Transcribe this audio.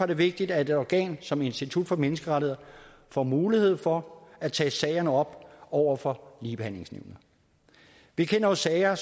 det vigtigt at et organ som institut for menneskerettigheder får mulighed for at tage sagerne op over for ligebehandlingsnævnet vi kender jo sager